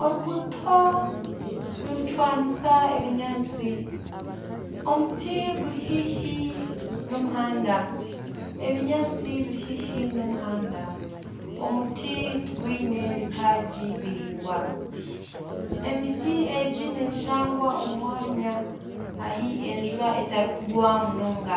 Oruguuto nirucwanisa ebinyaatsi. Omuti guri haihi n'omuhanda. Ebinyaatsi biri haihi n'omuhanda. Omuti tigwiine bitagi biringwa. Emiti egi neshangwa omu mwanya ahi enjura etari kugwa munonga